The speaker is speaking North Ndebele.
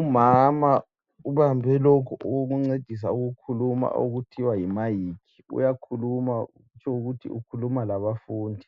Umama ubambe lokhu okokuncedisa ukukhuluma okuthiwa yimayikhi. Uyakhuluma kutsho ukuthi ukhuluma labafundi.